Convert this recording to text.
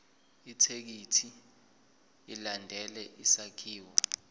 ithekisthi ilandele isakhiwo